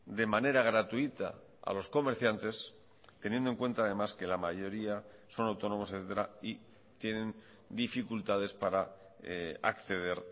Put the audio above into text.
de manera gratuita a los comerciantes teniendo en cuenta además que la mayoría son autónomos y tienen dificultades para acceder